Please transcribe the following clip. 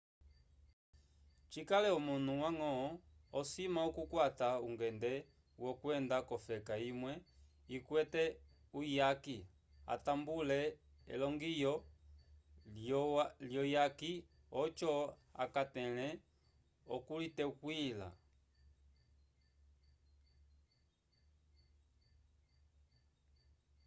cikale omunu wañgo osima okukwata ungende wokwenda k'ofeka imwe ikwete uyaki atambule elongiyo lyuyaki oco akatẽle okuliteywila